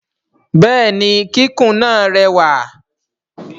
Bẹẹni kikun jẹ lẹwa.